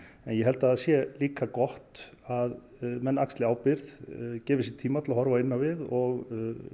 en ég held að það sé líka gott að menn axli ábyrgð gefi sér tíma til að horfa inn á við og